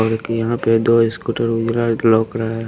और एक यहाँ पे दो स्कूटर वगैरह लॉक रहा है।